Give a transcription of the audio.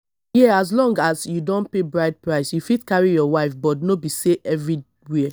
here as long as you don pay bride price you fit carry your wife but no be so everywhere